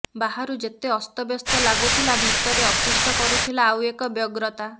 ବାହାରୁ ଯେତେ ଅସ୍ତବ୍ୟସ୍ତ ଲାଗୁଥିଲା ଭିତରେ ଅତିଷ୍ଠ କରୁଥିଲା ଆଉ ଏକ ବ୍ୟଗ୍ରତା